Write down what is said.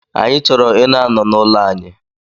Anyị chọrọ ina n'ụlọ anyị